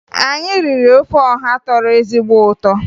Anyị riri ofe ọha tọrọ ezigbo ụtọ